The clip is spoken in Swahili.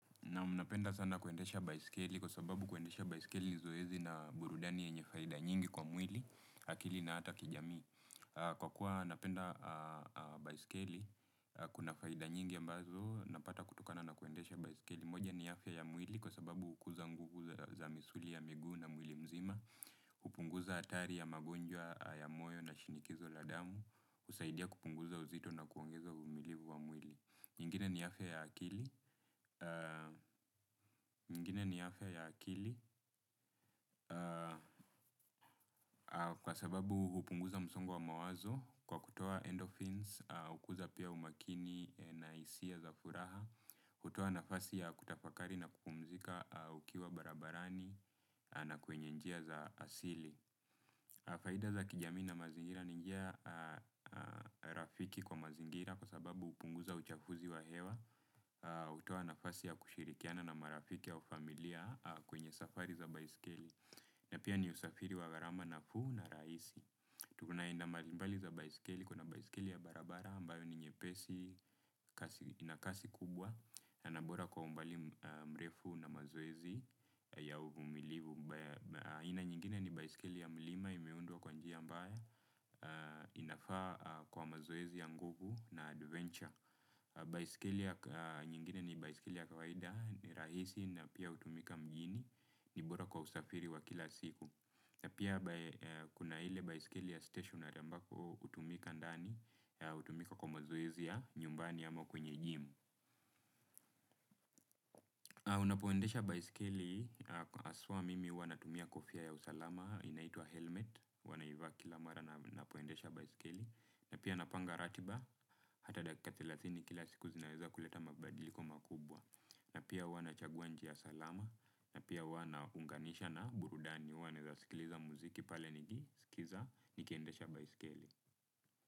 Naam, napenda sana kuendesha baiskeli kwa sababu kuendesha baisikeli ni zoezi na burudani yenye faida nyingi kwa mwili, akili na hata kijamii. Kwa kuwa napenda baiskeli, kuna faida nyingi ambazo, napata kutokana na kuendesha baiskeli. Moja ni afya ya mwili kwa sababu hukuza nguvu za misuli ya miguu na mwili mzima, hupunguza hatari ya magonjwa ya moyo na shinikizo la damu, husaidia kupunguza uzito na kuongeza umilivu wa mwili. Ingine ni afya ya akili kwa sababu hupunguza msongo wa mawazo kwa kutoa endothims hukuza pia umakini na hisia za furaha hutoa nafasi ya kutafakari ya kupumzika ukiwa barabarani na kwenye njia za asili. Faida za kijamii na mazingira ni njia rafiki kwa mazingira kwa sababu hupunguza uchafuzi wa hewa hutoa nafasi ya kushirikiana na marafiki au familia kwenye safari za baiskeli. Na pia ni usafiri wa gharama nafuu na rahisi. Tuko aina mbali mbali za baiskeli kuna baiskeli ya barabara ambayo ni nyepesi ina kasi kubwa na bora kwa umbali mrefu na mazoezo ya uvumilivu aina nyingine ni baisikeli ya mlima imeundwa kwa njia ambayo inafaa kwa mazkezi ya nguvu na adventure. Baisikeli nyingine ni baisikeli ya kawaida rahisi na pia hutumika mjini ni bora kwa usafiri wa kila siku. Na pia kuna ile baisikeli ya stationary ambako kutumika ndani hutumika kwa mazoezi ya nyumbani ama kwenye gym. Unapoendesha baisikeli haswa mimi huvaa kofia ya usalama inaitwa helment huwa naivaa kila mara ninapoendesha baisikeli na pia napanga ratiba hata dakika thelathini kila siku zinaweza kuleta mabadiliko makubwa na pia hwa nachagua njia salama na pia huwa naunganisha na burudani huwa naweza sikiliza muziki pale nikiendesha baisikeli.